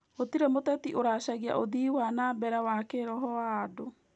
Gũtirĩ mũteti ũcaragia ũthii wa na mbere wa kĩĩroho wa andũ